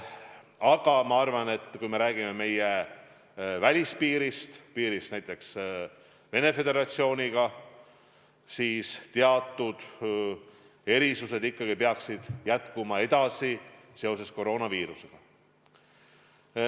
Aga ma arvan, et kui me räägime meie välispiirist, piirist näiteks Venemaa Föderatsiooniga, siis teatud erisused ikkagi peaksid edasi kehtima seoses koroonaviirusega.